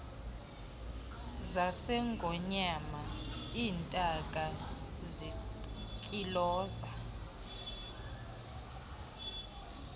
zasengonyama iintaka zintyiloza